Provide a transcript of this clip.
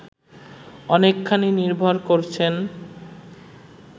অনেকখানি নির্ভর করছেন